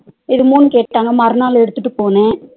இது மூணும் கேட்டாங்க மறுநாள் எடுத்துட்டு போன